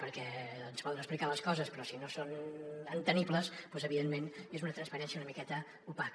perquè ens poden ex·plicar les coses però si no són entenedores doncs evidentment és una transparència una miqueta opaca